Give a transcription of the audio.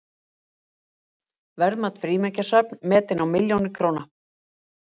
Verðmæt frímerkjasöfn metin á milljónir króna